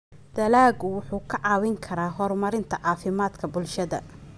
Dalaggu wuxuu kaa caawin karaa horumarinta caafimaadka bulshada.